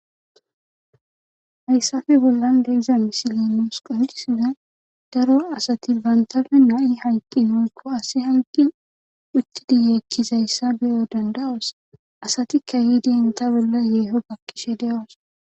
Haysappe bollan diza misiley nuusi qoncisizay daro asati bantappe nayi hayqin woy asy ahyqin michin yeekizysa beyo danda'osi , asati keehid enta bolla yeeho baqishe de'osona.